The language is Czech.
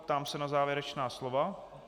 Ptám se na závěrečná slova.